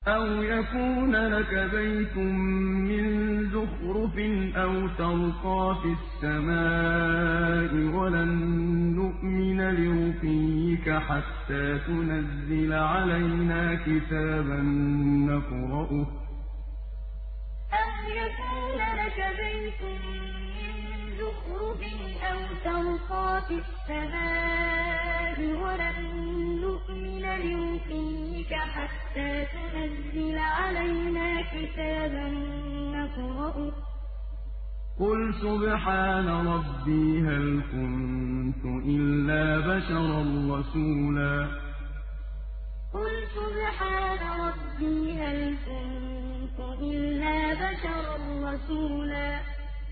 أَوْ يَكُونَ لَكَ بَيْتٌ مِّن زُخْرُفٍ أَوْ تَرْقَىٰ فِي السَّمَاءِ وَلَن نُّؤْمِنَ لِرُقِيِّكَ حَتَّىٰ تُنَزِّلَ عَلَيْنَا كِتَابًا نَّقْرَؤُهُ ۗ قُلْ سُبْحَانَ رَبِّي هَلْ كُنتُ إِلَّا بَشَرًا رَّسُولًا أَوْ يَكُونَ لَكَ بَيْتٌ مِّن زُخْرُفٍ أَوْ تَرْقَىٰ فِي السَّمَاءِ وَلَن نُّؤْمِنَ لِرُقِيِّكَ حَتَّىٰ تُنَزِّلَ عَلَيْنَا كِتَابًا نَّقْرَؤُهُ ۗ قُلْ سُبْحَانَ رَبِّي هَلْ كُنتُ إِلَّا بَشَرًا رَّسُولًا